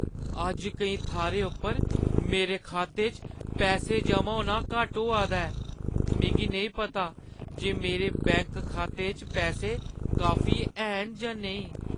अज्ज केईं थाह्‌रें उप्पर मेरे खाते च पैसे जमा होना घट्ट होआ दा ऐ ।मिगी नेईं पता जे मेरे बैंक खाते च पैसे काफी हैन जां नेईं।